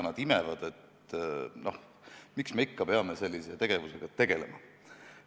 Miks me ikka peame sellise tegevusega tegelema?